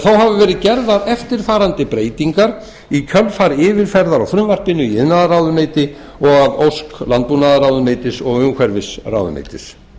hafa verið gerðar eftirfarandi breytingar í kjölfar yfirferðar á frumvarpinu í iðnaðarráðuneyti og að ósk landbúnaðarráðuneytis og umhverfisráðuneytis